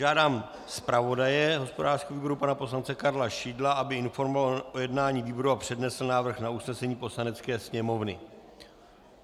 Žádám zpravodaje hospodářského výboru pana poslance Karla Šidla, aby informoval o jednání výboru a přednesl návrh na usnesení Poslanecké sněmovny.